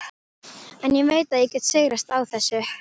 En ég veit að ég get sigrast á þessu.